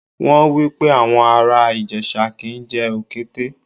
Wọ́n wípé àwọn ará Ìjẹ̀ṣà kì ń jẹ Òkété.